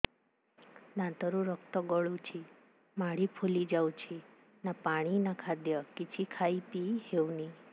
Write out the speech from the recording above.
ଦାନ୍ତ ରୁ ରକ୍ତ ଗଳୁଛି ମାଢି ଫୁଲି ଯାଉଛି ନା ପାଣି ନା ଖାଦ୍ୟ କିଛି ଖାଇ ପିଇ ହେଉନି